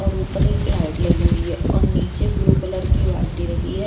और ऊपर एक लाइट लगी हुई है और नीचे ब्लू कलर की बाल्टी रखी है।